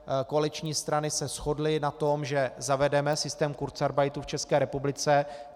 Koaliční strany se shodly na tom, že zavedeme systém kurzarbeitu v České republice.